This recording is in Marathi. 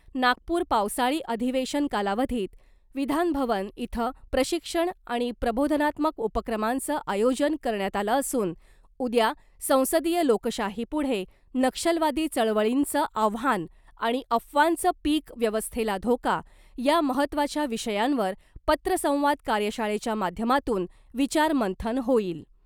नागपूर पावसाळी अधिवेशन कालावधीत विधानभवन इथं प्रशिक्षण आणि प्रबोधनात्मक उपक्रमांचं आयोजन करण्यात आलं असून उद्या संसदीय लोकशाहीपुढे नक्षलवादी चळवळींचं आव्हान आणि अफवांचं पिक व्यवस्थेला धोका , या महत्वाच्या विषयांवर पत्रसंवाद कार्यशाळेच्या माध्यमातून विचारमंथन होईल .